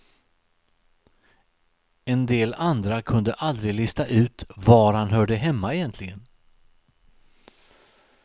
En del andra kunde aldrig lista ut var han hörde hemma egentligen.